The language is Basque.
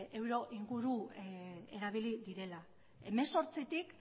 euro inguru erabili direla hemezortzitik